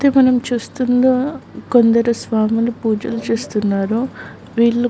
ఇక్కడ మనం చూస్తున్నాం కొందరు స్వాములు పూజలు చేస్తున్నారు వీళ్ళు --